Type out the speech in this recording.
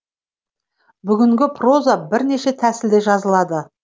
бүгінгі проза бірнеше тәсілде жазылады